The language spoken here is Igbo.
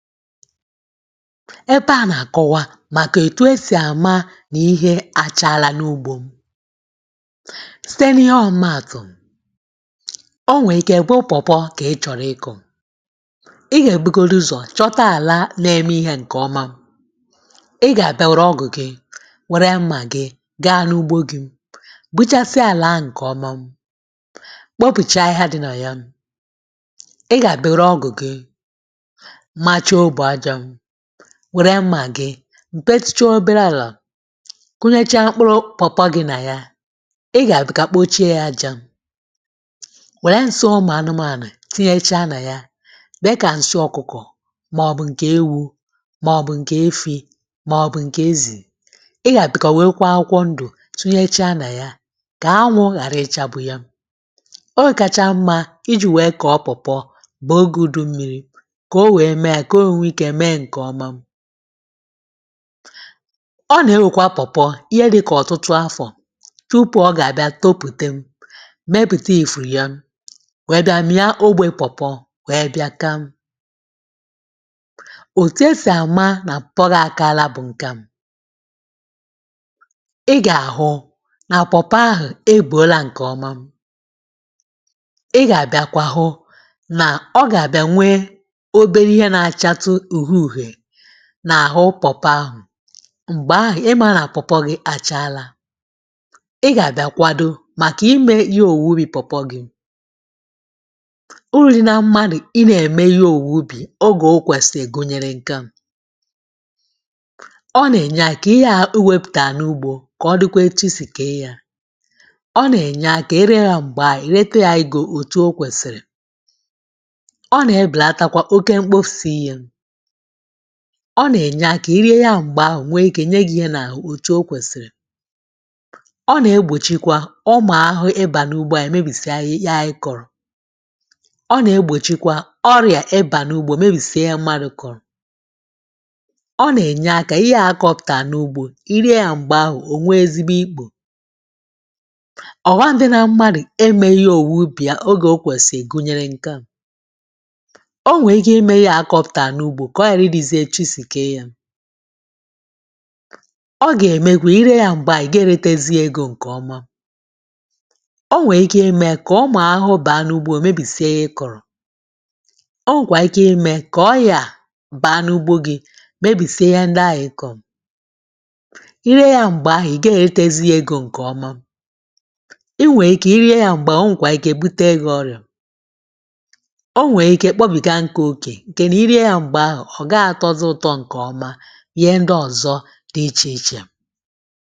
Ebe a na-akọwa maka etu e si ama na ihe a chaala n'ugbo m. Site n'ihe ọmụmaatụ, o nwee ike bụrụ pawpaw ka ị chọrọ. Ị ya ebugodi ụzọ chọta ala na-eme ihe nke ọma. Ị ga ọ́gụ̀ gị, were mmà gị gaa n'ugbo gị buchasịa ala ahụ nke ọma. Kpopụchaa ahịhịa dị na ya. Ị ga ga were ọgụ gị machaa óbò ájá, were mmà gị tupesịchaa obere ala kụnyechaa mkpụrụ pawpaw gị na ya. Ị ga ga kpochie ya aja were nsị́ ụmụ anụmanụ tinyechaa na ya. Mee ka nsị́ ọkụkọ maọbụ nke ewu maọbụ nke efi maọbụ nke ezì. Ị ya abịakwa werekwaa akwụkwọ ndụ̀ tinyechaa na ya ka anwụ ghara ịchagbu ya. Ọọ kacha mma iji wee kọọ pawpaw bụ oge udu mmiri koo wee mee ya koo wee nwee ike mee nke ọma. Ọ na-ewekwa pawpaw ihe dịka ọtụtụ afọ tupu ọ ga-abịa topute, mepụta ìfù ya wee bịa mịa ogbe pawpaw wee bịa káá. Otu e si ama na pawpaw gị akaala bụ nke a: ị ga-ahụ na pawpaw ahụ ebuola nke ọma. Ị ga-abîakwa hụ ọ ga-abịakwa nwee obere ihe na-achatụ uhie uhie n'ahụ pawpaw ahụ. Mgbe ahụ ị mara na pawpaw gị a chaala. Ị ga-abịa kwado maka ime ige owuwe ubi pawpaw gị. Uru dị na mmadụ ị na-eme ihe owuwe ubi oge o kwesịrị gụnyere nke a: ọ na-enye aka ihe a ewepụtaa n'ugbo ka ọ dịkwa etu i si kee ya. Ọ na-enye aka e ree ya mgbe a e rete ya ego etu ọ kwesịrị. Ọ na-ebelatakwa oké mkpofusị ihe. Ọ na-enye aka i rie ya mgbe ahụ o nye gị ihe n'ahụ otu ọ kwesịrị. Ọ na-egbochikwa ụmụ ahụhụ ị́bà n'ugbo anyị mebisịa ihe ayị kọrọ. Ọ na-egbochikwa ọrịa ị ba n'ugbi mebisịa ihe mmadụ kọrọ. Ọ na-enye aka ihaa a kọpụtaa n'ugbo, i rie ya mgba ahụ o nwee ezigbo íkpò. Ọghọm dị na mmadụ emeghị ihe owuwe ubi ya mgbe o kwesịrị gụnyere nke a: O nwee ike ime ihe a a kpọpụtaa n'ugbo ka ọ ghara ịdịzị otu i siri kee ya. Ọ ga-emekwa i ree ya mgbe ahụ ị gaghị eretezi ya ego nke ọma. O nwee ike ime ka ụmụ ahụhụ baa n'ugbo mebisie ihe ị kọrọ. O nwekwaa ike ime ka ọ́yà baa n'ugbo gị mebisie ihe ndị ahụ ị kọrọ. I ree ya mgbe ahụ ị gee eretezi ya ego nke ọma. I nwee ike i rie ya mgbe ahụ o nwekwaa ike butere gị ọrịa. O nwee ike kpọbiga nkụ oke nke na i rie ya mgbe ahụ ọ gaghị atọzị ụtọ nke ọma, ihe ndị ọzọ dị iche iche.